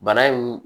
Bana in